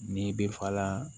Ni bɛ fala